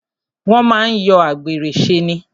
Wọ́n máa ń yọ àgbèrè ṣe ni.